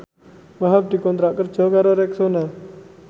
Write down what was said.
Wahhab dikontrak kerja karo Rexona